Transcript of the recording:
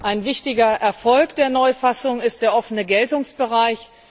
Ein wichtiger Erfolg der Neufassung ist der offene Geltungsbereich.